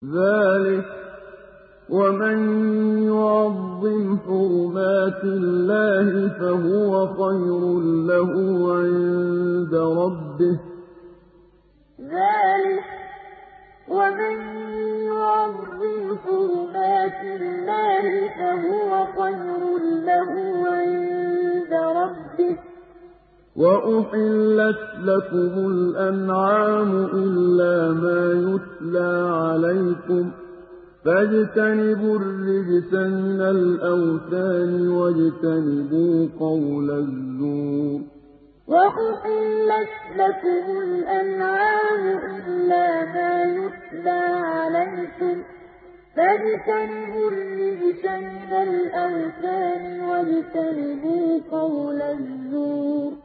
ذَٰلِكَ وَمَن يُعَظِّمْ حُرُمَاتِ اللَّهِ فَهُوَ خَيْرٌ لَّهُ عِندَ رَبِّهِ ۗ وَأُحِلَّتْ لَكُمُ الْأَنْعَامُ إِلَّا مَا يُتْلَىٰ عَلَيْكُمْ ۖ فَاجْتَنِبُوا الرِّجْسَ مِنَ الْأَوْثَانِ وَاجْتَنِبُوا قَوْلَ الزُّورِ ذَٰلِكَ وَمَن يُعَظِّمْ حُرُمَاتِ اللَّهِ فَهُوَ خَيْرٌ لَّهُ عِندَ رَبِّهِ ۗ وَأُحِلَّتْ لَكُمُ الْأَنْعَامُ إِلَّا مَا يُتْلَىٰ عَلَيْكُمْ ۖ فَاجْتَنِبُوا الرِّجْسَ مِنَ الْأَوْثَانِ وَاجْتَنِبُوا قَوْلَ الزُّورِ